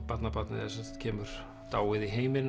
barnabarnið sem sagt kemur dáið í heiminn